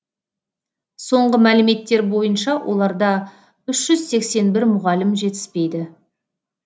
соңғы мәліметтер бойынша оларда үш жүз сексен бір мұғалім жетіспейді